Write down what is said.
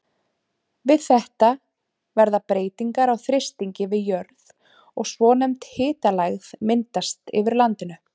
Við þetta verða breytingar á þrýstingi við jörð og svonefnd hitalægð myndast yfir landinu.